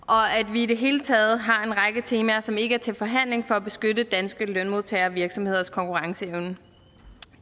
vi i det hele taget har en række temaer som ikke er til forhandling for at beskytte danske lønmodtagere og virksomheders konkurrenceevne